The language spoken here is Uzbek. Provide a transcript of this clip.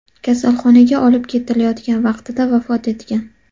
kasalxonaga olib ketilayotgan vaqtida vafot etgan.